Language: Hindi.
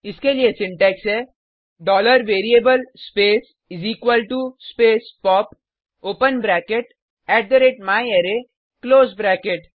इसके लिए सिंटेक्स है variable space space pop open bracket myArray close bracket